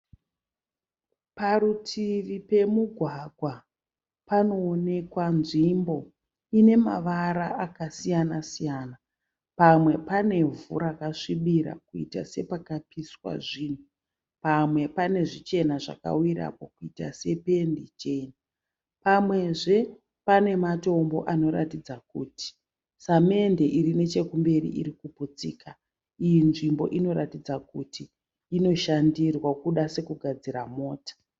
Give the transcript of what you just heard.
Parutivi pemugwagwa panoonekwa nzvimbo inemavara askasiyana siyana. Pamwe panevhu rakasvibira kuita sepakapiswa zvinhu. Pamwe pane zvichena zvakawirapo kuita sependi chena. Pamwezve pane matombo anoratidza kuti samende irinechekumberi irikuputsika. Iyi nzvimbo inoratidza kuti inoshandirwa kuda sekugadzira mota.